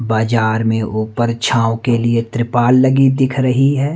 बाजार में ऊपर छांव के लिए त्रिपाल लगी दिख रही है।